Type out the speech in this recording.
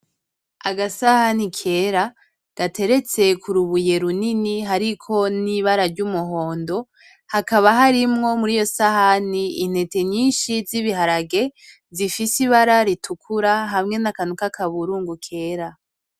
Agasahani kera gateretse ku rubuye runini hariko n'ibara ry’umuhondo, hakaba harimwo muriyo sahani intete nyinshi z’ibiharage zifise ibara ritukura hamwe n'akantu k’akaburungu kera.